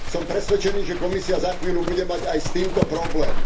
Som presvedčený, že Komisia za chvíľu bude mať aj s týmto problém.